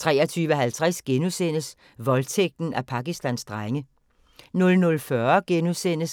23:50: Voldtægten af Pakistans drenge *